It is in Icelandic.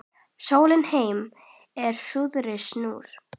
Sólin heim úr suðri snýr